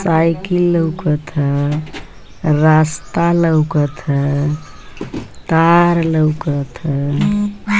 Cycle लउकत ह रास्ता लउकत ह तार लउकत ह।